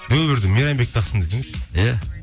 нөл бірді мейрамбек тақсын десеңші иә